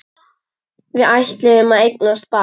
Við ætluðum að eignast barn.